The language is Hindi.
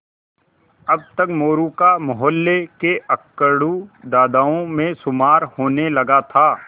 अब तक मोरू का मौहल्ले के अकड़ू दादाओं में शुमार होने लगा था